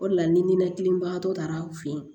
O de la ni ninakili bagatɔ taara aw fɛ yen